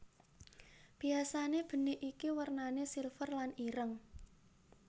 Biasane benik iki wernane silver lan ireng